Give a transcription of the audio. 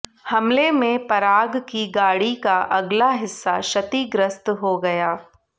हमले में पराग की गाड़ी का अगला हिस्सा क्षतिग्रस्त हो गया